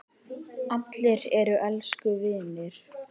Allir eru elsku vinir.